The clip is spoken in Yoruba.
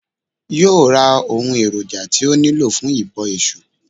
Yóò ra ohun èròjà tí ó nílò fún ìbọ Èsù